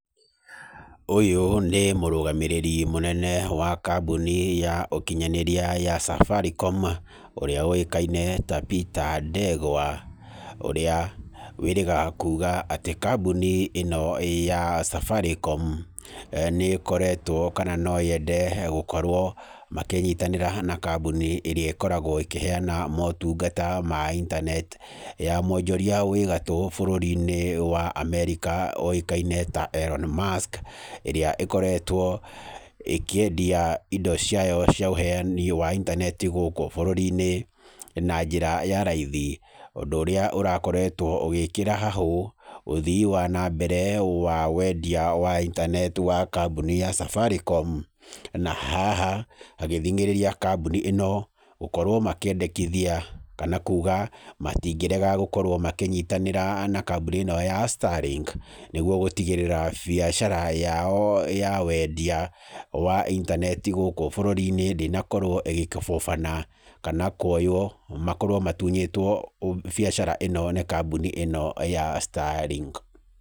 Ũyũ nĩ mũrũgamĩrĩri mũnene wa kambuni ya ũkinyanĩria ya Safaricom ũrĩa ũĩkaine ta Peter Ndegwa. Ũrĩa wĩrĩga kuuga atĩ kambuni ĩno ya Safaricom, nĩ ĩkoretwo, kana noyende gũkorwo makĩnyitanĩra hamwe na kambuni ĩrĩa ĩkoragwo ĩkĩheana motungata ma intaneti , ya mwonjoria wĩ gatũũ bũrũri-inĩ wa America ũĩkaine ta Elon Musk, ĩrĩa ĩkoretwo ĩkĩendia indo ciayo cia ũheani wa intaneti gũkũ bũrũri-inĩ na njĩra ya raithi. Ũndũ ũrĩa ũrakoretwo ũgĩkĩra hahũ ũthii wa na mbere wa wendia wa intaneti wa kambuni ya Safaricom. Na haha hagĩthingĩrĩria kambuni ĩno gũkorwo makĩendekithia kana kuuga matingĩrega gũkorwo makĩnyitanĩra na kambuni ĩno ya Starlink. Nĩguo gũtigĩrĩra biacara yao ya wendia wa intaneti gũkũ bũrũri-inĩ ndĩnakorwo ĩgĩkũbũbana kana kuoywo makorwo matunyĩtwo biacara ĩno nĩ kambuni ĩno ya Starlink.